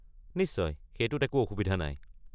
নিশ্চয়! সেইটোত একো অসুবিধা নাই।